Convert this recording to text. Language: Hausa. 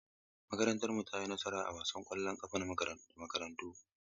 Makarantarmu ta yi nasara a wasan ƙwallon ƙafa da makarantarku.